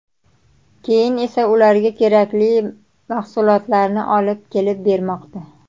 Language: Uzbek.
Keyin esa ularga kerakli mahsulotlarni olib kelib bermoqda.